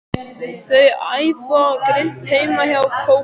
Þau æfa grimmt heima hjá Kókó.